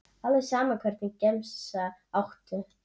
alveg sama Hvernig gemsa áttu?